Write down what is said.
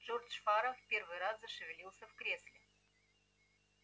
джордж фара в первый раз зашевелился в кресле